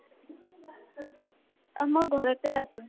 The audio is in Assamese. অহ, মই ঘৰতে আছো